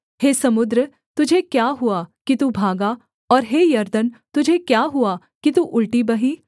हे समुद्र तुझे क्या हुआ कि तू भागा और हे यरदन तुझे क्या हुआ कि तू उलटी बही